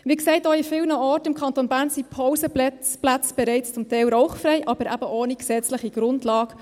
Wie gesagt: Auch an vielen Orten im Kanton Bern sind die Pausenplätze bereits zum Teil rauchfrei, aber eben ohne gesetzliche Grundlage.